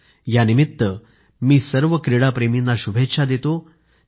यानिमित्त मी सर्व क्रीडाप्रेमींना शुभेच्छा देतो